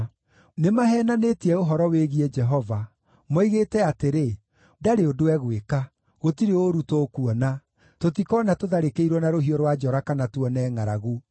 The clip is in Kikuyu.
Nĩmaheenanĩtie ũhoro wĩgiĩ Jehova; moigĩte atĩrĩ, “Ndarĩ ũndũ egwĩka! Gũtirĩ ũũru tũkuona; tũtikoona tũtharĩkĩirwo na rũhiũ rwa njora kana tuone ngʼaragu.